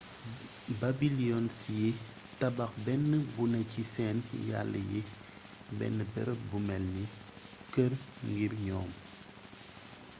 babylinians yi tabax benn buné ci seen yalla yi benn bërëb bu mélni kër ngir ñoom